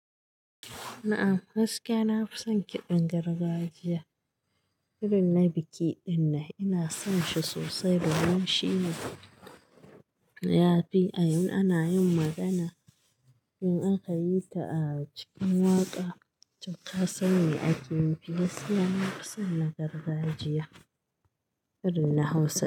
A ah, gaskiya na fi son kiɗan gargajiya. Irin na biki dinnan ina son shi sosai domin shine ya fi a in ana yin magana in aka yi ta a cikin waƙa, to ka san me ake nufi gaskiya. Na fi son na gargajiya irin na Hausa.